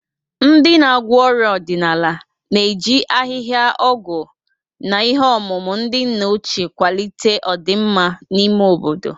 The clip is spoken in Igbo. Ndị na-agwọ ọrịa ọdịnala na-eji ahịhịa ọgwụ na ihe ọmụma ndị nna ochie kwalite ọdịmma n'ime obodo.